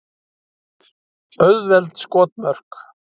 Auðveld skotmörk.